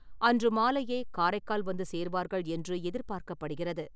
அன்று மாலையே காரைக்கால் வந்து சேர்வார்கள் என்று எதிர்பார்க்கப்படுகிறது.